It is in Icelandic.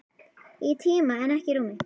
Í tíma en ekki í rúmi.